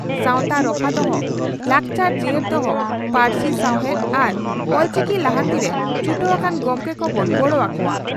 ᱥᱟᱣᱛᱟ ᱨᱚᱯᱷᱟ ᱫᱚᱦᱚ, ᱞᱟᱠᱪᱟᱨ ᱡᱤᱭᱟᱹᱲ ᱫᱚᱦᱚ, ᱯᱟᱹᱨᱥᱤ ᱥᱟᱣᱦᱮᱫ ᱟᱨ ᱚᱞᱪᱤᱠᱤ ᱞᱟᱦᱟᱱᱛᱤᱨᱮ ᱪᱷᱩᱴᱟᱹᱣ ᱟᱠᱟᱱ ᱜᱚᱢᱠᱮ ᱠᱚᱵᱚᱱ ᱜᱚᱲᱚ ᱟᱠᱚᱣᱟ ᱾